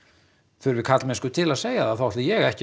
þurfi karlmennsku til að segja þá ætla ég ekki að